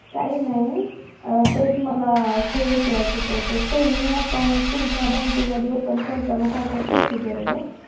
काय नाही अं तेच मला, ते विचारायचं होतं saving account तुमच्या bank मध्ये open करताना, काय-काय procedure आहे ग?